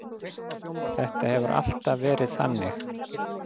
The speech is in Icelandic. Þetta hefur alltaf verið þannig.